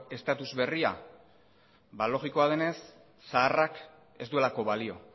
status berria ba logikoa denez zaharrak ez duelako balio